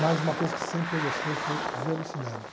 Mas uma coisa que sempre eu gostei foi velocidade.